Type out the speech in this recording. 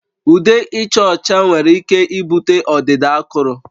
Ude ịcha ọcha nwere ike ibute ọdịda akụrụ